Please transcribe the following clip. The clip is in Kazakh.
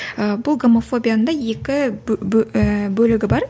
ы бұл гомофобияны да екі ііі бөлігі бар